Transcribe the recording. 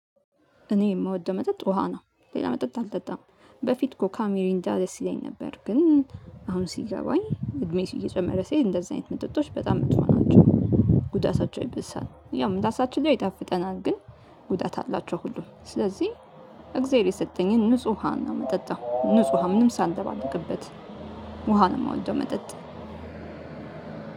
እኔ የምወደው መጠጥ ውሃ ነው። ሌላ መጠጥ አልጠጣም በፊት ኮካ ሚሪንዳ ደስ ይለኝ ነበር። ግን አሁን ሲገባኝ እድሜስ እየጨመረ ሴት እንደዚህ አይነት መጥጦች በጣም የምትሆናቸው። ጉዳታቸው ይብሳል ያው ምላሳችን ላይ ይጣፍጠናል። ግን አላቸው ሁሉም ስለዚህ እግዜር የሰጠኝን ንጹህ ውሃ እና ምጠጣው ንጹሃ ምንም ሳንደባለቅበት። ውሃ ነው የምወደው መጠጥ።